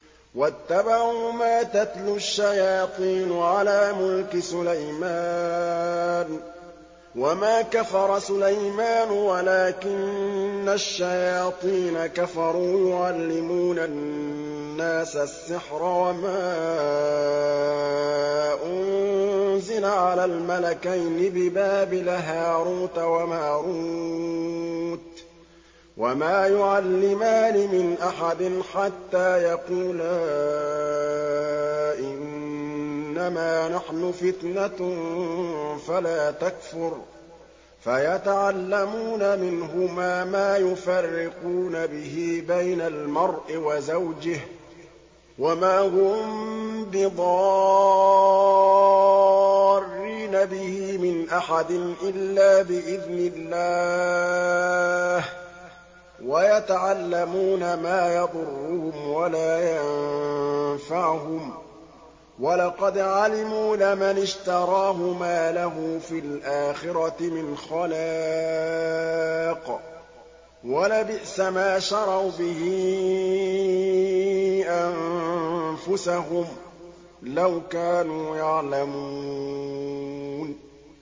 وَاتَّبَعُوا مَا تَتْلُو الشَّيَاطِينُ عَلَىٰ مُلْكِ سُلَيْمَانَ ۖ وَمَا كَفَرَ سُلَيْمَانُ وَلَٰكِنَّ الشَّيَاطِينَ كَفَرُوا يُعَلِّمُونَ النَّاسَ السِّحْرَ وَمَا أُنزِلَ عَلَى الْمَلَكَيْنِ بِبَابِلَ هَارُوتَ وَمَارُوتَ ۚ وَمَا يُعَلِّمَانِ مِنْ أَحَدٍ حَتَّىٰ يَقُولَا إِنَّمَا نَحْنُ فِتْنَةٌ فَلَا تَكْفُرْ ۖ فَيَتَعَلَّمُونَ مِنْهُمَا مَا يُفَرِّقُونَ بِهِ بَيْنَ الْمَرْءِ وَزَوْجِهِ ۚ وَمَا هُم بِضَارِّينَ بِهِ مِنْ أَحَدٍ إِلَّا بِإِذْنِ اللَّهِ ۚ وَيَتَعَلَّمُونَ مَا يَضُرُّهُمْ وَلَا يَنفَعُهُمْ ۚ وَلَقَدْ عَلِمُوا لَمَنِ اشْتَرَاهُ مَا لَهُ فِي الْآخِرَةِ مِنْ خَلَاقٍ ۚ وَلَبِئْسَ مَا شَرَوْا بِهِ أَنفُسَهُمْ ۚ لَوْ كَانُوا يَعْلَمُونَ